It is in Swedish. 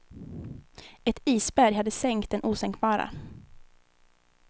Ett isberg hade sänkt den osänkbara.